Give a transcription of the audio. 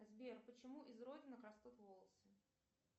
сбер почему из родинок растут волосы